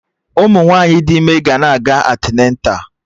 Ụmụ nwaanyị dị ime ga na-aga antịneta